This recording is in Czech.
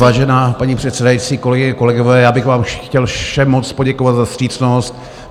Vážená paní předsedající, kolegyně, kolegové, já bych vám chtěl všem moc poděkovat za vstřícnost.